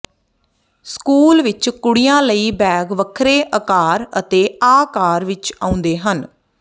school ਵਿਚ ਕੁੜੀਆਂ ਲਈ ਬੈਗ ਵੱਖਰੇ ਅਕਾਰ ਅਤੇ ਆਕਾਰ ਵਿਚ ਆਉਂਦੇ ਹਨ